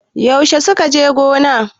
Yaushe suka je gona?